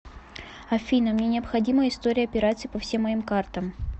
афина мне необходима история операций по всем моим картам